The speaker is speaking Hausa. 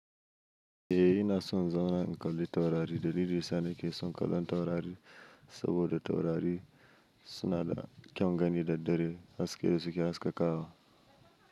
Eh, ina son in zauna na kalli taurari dalilin da yasa nake son kallon taurari saboda taurari suna da kyan gani da daddare haske da suke haskaka wa.